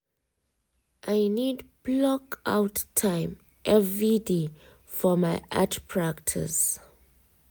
i need block out time every day for my art practice